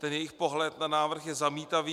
Ten jejich pohled na návrh je zamítavý.